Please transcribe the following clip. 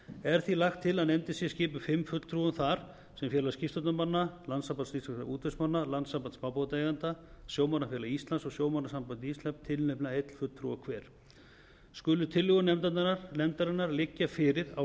er því lagt til að nefndin sé skipuð fimm fulltrúum þar sem félag skipstjórnarmanna landssamband íslenskra útvegsmanna landssamband smábátaeigenda sjómannafélag íslands og sjómannasamband íslands tilnefna einn fulltrúa hver skulu tillögur nefndarinnar liggja fyrir á